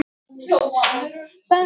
Innri gerð jarðar